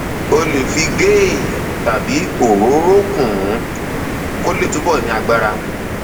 o lè fi ghee tàbí òróró kún un kó lè túbọ ní agbára